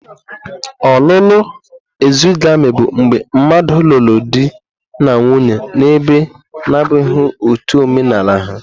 Ọlụlụ exogami bụ mgbe mmadụ lụrụ di na nwunye na ebe na-abụghị ọtú omenaala ha.